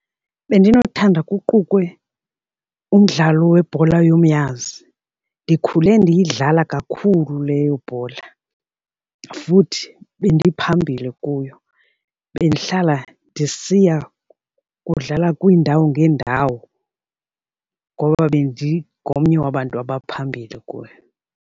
Bendinothanda kuqukwe umdlalo webhola yomnyazi. Ndikhule ndiyidlala kakhulu leyo bhola futhi bendiphambili kuyo. Bendihlala ndisiya kudlala kwiindawo ngeendawo ngoba bendingomnye wabantu abaphambili kuyo.